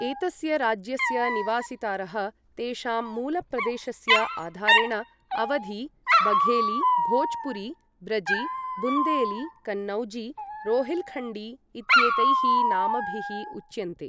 एतस्य राज्यस्य निवासितारः. तेषां मूल प्रदेशस्य आधारेण अवधी, बघेली, भोज्पुरी, ब्रजी, बुन्देली, कन्नौजी, रोहिल्खण्डी इत्येतैः नामभिः उच्यन्ते।